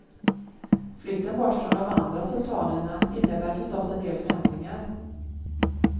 Flytten bort från de andra sultanerna innebär förstås en del förändringar.